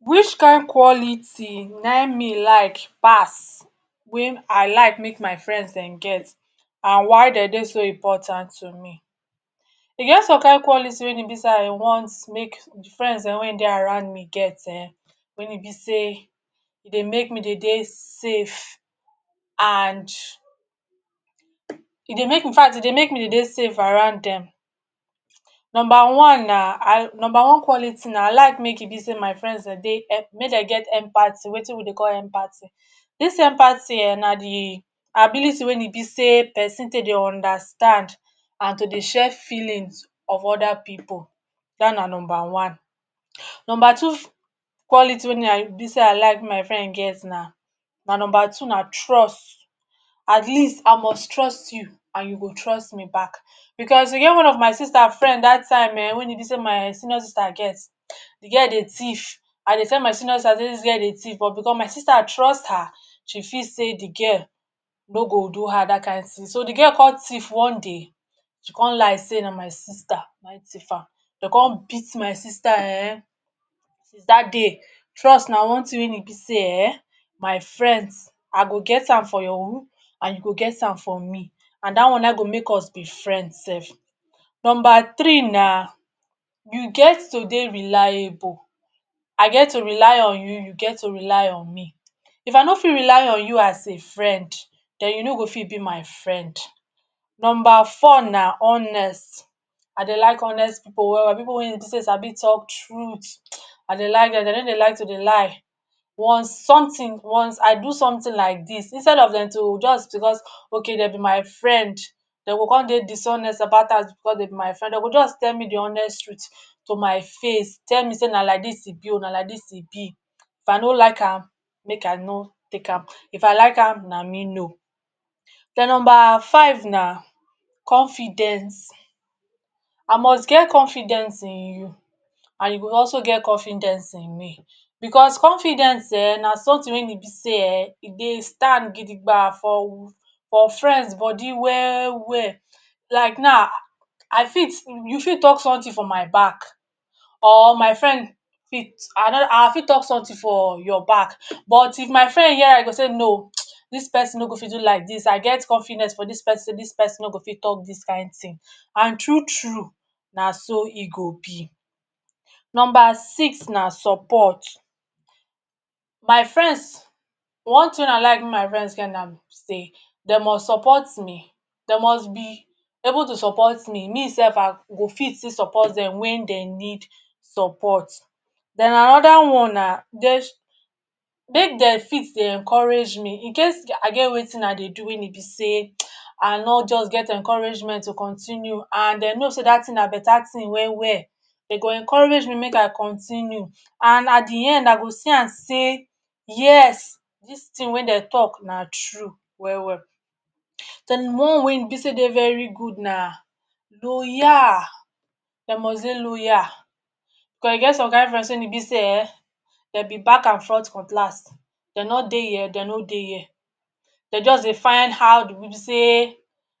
Which kind quality naim me like pass wey I like make my friends-dem get and why de dey so important to me? E get some kind quality wen e be sey I want make friends-dem wey dey around me get[um]wey e be seye dey make me dey dey safe and e dey make infact e dey make me dey dey safe around dem. Number one na number one quality na I like make e be sey my friends de dey make dem get empathy; make dem get wetin we dey call ‘empathy’. Dis empathy[um]na the ability wey e be sey pesin take dey understand and to dey share feelings of other pipu. That na number one. Number two quality wey me I be sey I like make my friend get na, my number two na trust. At least, I must trust you and you go trust me back. Because e get one of my sister friend that time[um]wen e be sey my senior sister get, the girl dey thief. I dey tell my senior sister sey dis girl dey thief but because my sister trust her, she feel sey the girl no go do her that kind thing. So, the girl come thief one day, she come lie sey na my sister naim thief am. De come beat my sister um, since that day, trust na one thing wen e be sey ehn, my friends, I go get am for you and you go get am for me. And that one naim go make us be friends sef. Number three na you get to dey reliable. I get to rely on you, you get to rely on me. If I no fit rely on you as a friend, then you no go fit be my friend. Number four na honest. I dey like honest pipu well-well, pipu wey e be sey sabi talk truth. I dey like dem. De no dey like to dey lie. Once something once I do something like dis, instead of dem to just to just okay de be my friend, de go come dey dishonest about am because de be my friend, de go just tell me the honest truth to my face - tell me say na like dis e be o, na like dis e be. If I no like am make I no take am, if I like am na me know. Then number five na confidence. I must get confidence in you and you go also get confidence in me because confidence ehn, na something wey e be sey[um]e dey stand gidigba for for friends body well-well. Like now, I fit you fit talk something for my back or my fiend fit I fit talk something for your back, but if my friend hear am e go say ‘no, dis pesin no go fit do like dis, I get confidence for dis pesin sey dis pesin no go fit talk dis kind thing’. And true-true, na so e go be. Number six na support. My friends one thing wey I like make my friends get na be sey de must support me, de must be able to support me, me sef I go fit still support dem when dem need support. Then another one na make de fit dey encourage me in case I get wetin I dey do wey e be sey um I no just get encouragement to continue, and de know sey that thing na better thing well-well, de go encourage me make I continue. And at the end I go see am sey yes dis thing wen de talk na true well-well. Then one wey e be sey e dey very good na loyal. De must dey loyal. Because e get some kind friends wen e be sey[um]de be back and front cutlass. De no dey here de no dey here. De just dey find how be sey